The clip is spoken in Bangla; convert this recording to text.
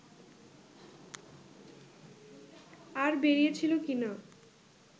আর বেরিয়েছিল কিনা